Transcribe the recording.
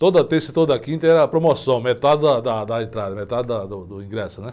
Toda terça e toda quinta era promoção, metade da, da, da entrada, metade da, do ingresso, né?